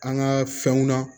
An ka fɛnw na